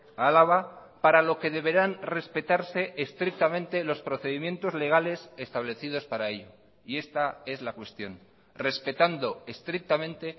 a álava para lo que deberán respetarse estrictamente los procedimientos legales establecidos para ello y esta es la cuestión respetando estrictamente